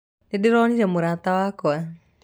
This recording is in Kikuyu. Nĩndĩronire murata wakwa